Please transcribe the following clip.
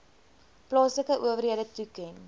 plaaslike owerhede toeken